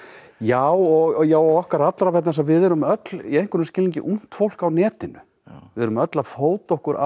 já og já og okkar allra vegna þess að við erum öll í einhverjum skilningi ungt fólk á netinu við erum öll að fóta okkur á